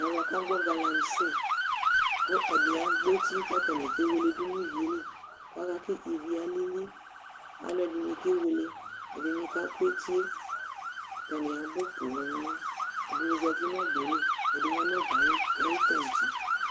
Ɛʋɛ aƙa agɓɔ galamsɩ, ƙʊ ɛdɩ agbɔ etɩ ƙataŋɩ ƙeweke dʊ ŋʊ ɩʋɩelɩ aƙa ƙʊ ɩʋɩe alɩlɩ Alʊ ɛdɩŋɩ kewele, ɛdɩŋɩ ƙa ƙʊ etɩe ataŋɩ aɓʊ ƒoo Ɛdɩŋɩ zatɩ ŋʊ ɔɓelɩ, ɛdɩŋɩ ƴa ŋu ɔɓɛ aƴɩ tatse